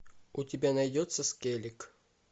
у тебя найдется скеллиг